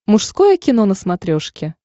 мужское кино на смотрешке